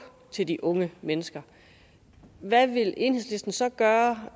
til de unge mennesker hvad vil enhedslisten så gøre